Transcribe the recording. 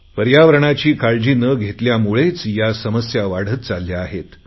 पर्यावरणाची काळजी न घेतल्यामुळेच या समस्या वाढत चालल्या आहे